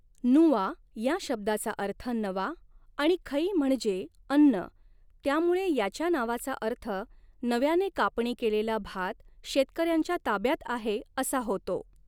नुआ या शब्दाचा अर्थ नवा आणि खई म्हणजे अन्न, त्यामुळे याच्या नावाचा अर्थ नव्याने कापणी केलेला भात शेतकऱ्यांच्या ताब्यात आहे असा होतो.